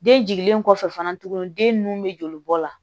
Den jiginlen kɔfɛ fana tuguni den nunnu be joli bɔ la